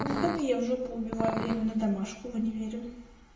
в выходные в жопу убиваю время на домашку в универе